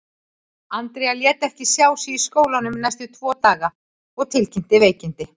Andrea lét ekki sjá sig í skólanum næstu tvo daga og tilkynnti veikindi.